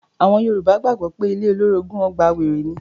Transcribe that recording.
Àwọn Yorùbá gbàgbọ́ pé ilé olórogùn ọgbà wèrè ní.